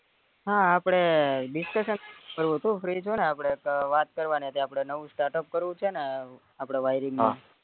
હા આપડે discussion કરવું હતું free છો નેં આપડે એક વાત કરવાની હતી આપડે નવું startup કરવું છે ને આપડે wiring